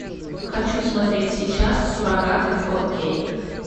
хочу смотреть сейчас суррогаты фор кей